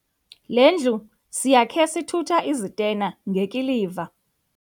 Le ndlu siyakhe sithutha izitena ngekiliva.